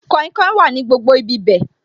Kainkain wà ní gbogbo ibi bẹ̀